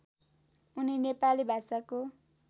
उनी नेपाली भाषाको